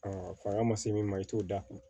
fanga ma se min ma i t'o da kun